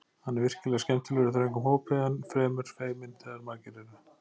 Hann er virkilega skemmtilegur í þröngum hópi en fremur feiminn þegar margir eru.